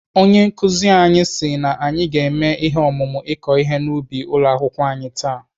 Onye nkụzi anyị si na anyị ga-eme ihe omume ị̀kọ ihe n'ubi ụlọ akwụkwọ anyị taa.